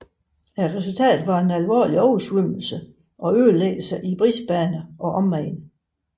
Resultatet var en alvorlig oversvømmelse og ødelæggelser i Brisbane og omegn